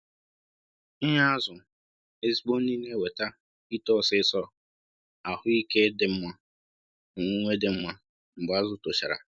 Ị Ị nye azụ ezigbo nri na e weta ito ọsisọ, ahụ ike dị mma, na owuwe dị mma mgbe azụ tochara